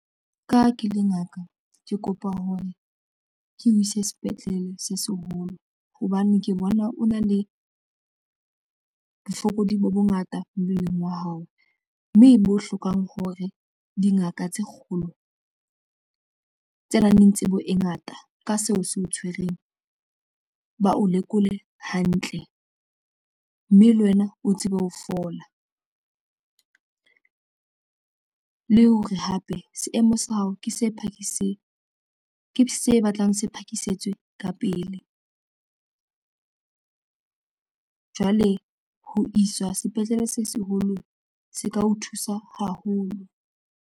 Ka ha ke le ngaka ke kopa hore ke o ise sepetlele se seholo hobane ke bona o na le bofokodi bo bongata mmeleng wa hao mme bo hlokang hore dingaka tse kgolo tse nang le tsebo e ngata ka seo se o tshwereng ba o lekole hantle mme le wena o tsebe ho fola le hore hape seemo sa hao ke se phakisang ke se batlang se phakisetswe ka pele jwale ho iswa sepetlele se seholo se ka o thusa haholo.